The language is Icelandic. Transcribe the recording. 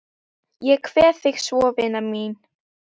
Ég kveð þig svo vina mín.